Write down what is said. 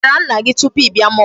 Ị gwara nna gị tupu ị bịa mall?